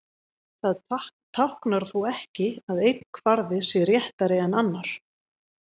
Það táknar þó ekki að einn kvarði sé réttari en annar.